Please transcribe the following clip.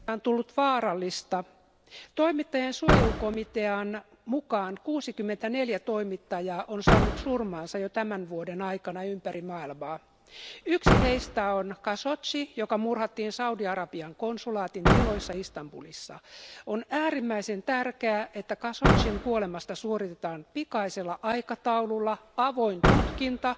Arvoisa puhemies, toimittajan työstä on tullut vaarallista. Toimittajien suojelukomitean mukaan 64 toimittajaa on saanut surmansa jo tämän vuoden aikana ympäri maailmaa. Yksi heistä on Khashoggi, joka murhattiin Saudi-Arabian konsulaatin tiloissa Istanbulissa. On äärimmäisen tärkeää, että Khashoggin kuolemasta suoritetaan pikaisella aikataululla avoin tutkinta,